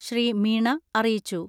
ശ്രീ. മീണ അറിയിച്ചു.